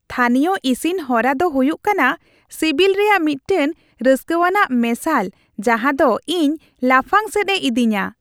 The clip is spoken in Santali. ᱛᱷᱟᱹᱱᱤᱭᱚ ᱤᱥᱤᱱ ᱦᱚᱨᱟ ᱫᱚ ᱦᱩᱭᱩᱜ ᱠᱟᱱᱟ ᱥᱤᱵᱤᱞ ᱨᱮᱭᱟᱜ ᱢᱤᱫᱴᱟᱝ ᱨᱟᱹᱥᱠᱟᱹᱣᱟᱱᱟᱜ ᱢᱮᱥᱟᱞ ᱡᱟᱦᱟᱸ ᱫᱚ ᱤᱧ ᱞᱟᱯᱷᱟᱝ ᱥᱮᱫ ᱮ ᱤᱫᱤᱧᱟ ᱾